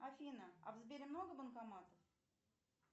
афина а в сбере много банкоматов